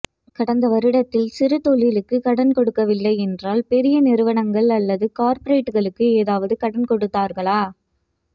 கடந்த வருடத்தில் சிறு தொழிலுக்கு கடன் கொடுக்கவில்லை என்றால் பெரிய நிறுவனங்கள் அல்லது கார்ப்பரேட்டுகளுக்கு எதாவது கடன் கொடுத்தார்களா